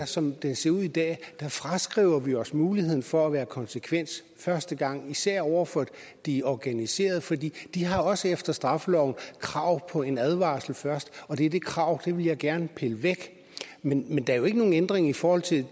som det ser ud i dag fraskriver vi os muligheden for at være konsekvente første gang især over for de organiserede for de har også efter straffeloven krav på en advarsel først og det er det krav jeg gerne pille væk men der er jo ikke nogen ændring i forhold til